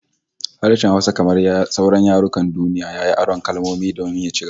Harshen Hausa kamar sauran yarukan duniya, yayi aron kalmomi domin ya ci gaba